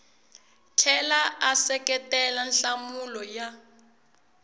tlhela a seketela nhlamulo ya